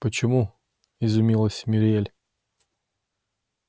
почему изумилась мюриель